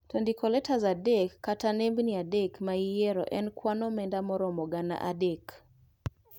To ndiko letas adek kata nembni adek maiyiero en kwan omenda maromo gana adek